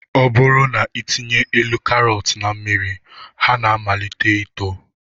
Ọ bụrụ na ị tinye elu karọt na mmiri ha na-amalite ito